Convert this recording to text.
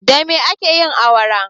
Da me ake yin awara?